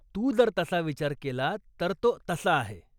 तू जर तसा विचार केला तर तो तसा आहे.